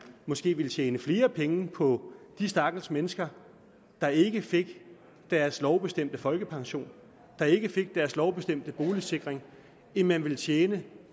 måske vil tjene flere penge på de stakkels mennesker der ikke får deres lovbestemte folkepension der ikke får deres lovbestemte boligsikring end man vil tjene